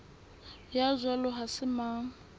ya jwalo ha se mang